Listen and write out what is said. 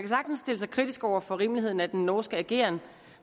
sagtens stille sig kritisk over for rimeligheden af den norske ageren